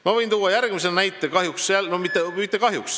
Ma võin tuua veel ühe näite.